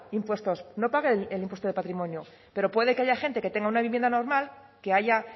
impuestos no pague el impuesto de patrimonio pero puede que haya gente que tenga una vivienda normal que haya